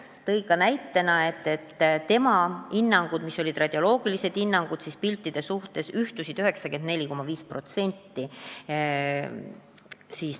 Ta tõi ka näite, et tema ja radioloogide hinnangud piltide kohta on ühtinud 94,5%.